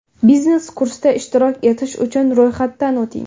Biznes kursda ishtirok etish uchun ro‘yxatdan o‘ting!